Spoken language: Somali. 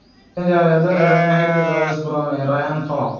(Birmingham Mail) Rangers ayaa dooneysa xiddiga West Brom ee Rayhaan Tulloch.